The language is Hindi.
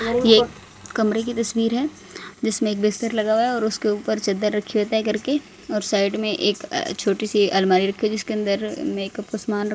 ये एक कमरे की तस्वीर है जिसमें एक बिस्तर लगा हुआ है और उसके ऊपर चद्दर रखी है तह करके और साइड में एक छोटी सी अलमारी रखी है जिसके अंदर मेकअप का सामान र--